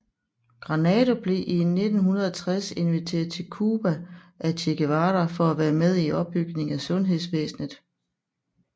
Granado blev i 1960 inviteret til Cuba af Che Guevara for at være med i opbygningen af sundhedsvæsnet